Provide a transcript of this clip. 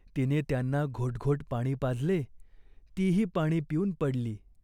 तिने त्यांना घोटघोट पाणी पाजले. तीही पाणी पिऊन पडली.